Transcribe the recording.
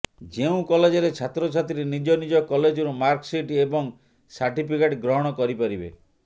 ଯେଉଁ କଲେଜରେ ଛାତ୍ରଛାତ୍ରୀ ନିଜ ନିଜ କଲେଜରୁ ମାର୍କ ସିଟ୍ ଏବଂ ସାର୍ଟିଫିକେଟ୍ ଗ୍ରହଣ କରିପାରିବେ